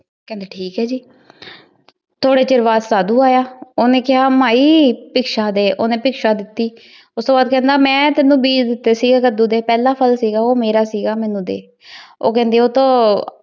ਕਹੰਦਾ ਠੀਕ ਆਯ ਜੀ ਥੋਰੀ ਛੇਰ ਬਾਅਦ ਸਦ੍ਧੁ ਯਾ ਓਹਨੇ ਕੇਹਾ ਮੈ ਕੁਛ ਸਹੀ ਡੀ ਓਹਨੀ ਕੁਛ ਸ਼ਾਹੀ ਦਿਤੀ ਓਸ ਤੋਂ ਬਾਅਦ ਕਹੰਦਾ ਮੈਂ ਤੁਹਾਨੂ ਬੀ ਦਿਤੀ ਸੀਗੀ ਕਦੋ ਡੀ ਊ ਪਹਲਾ ਪਹਲ ਸੀਗਾ ਊ ਮੇਨੂ ਡੀ ਊ ਕੇਹ੍ਨ੍ਦੀ ਊ ਤਾਂ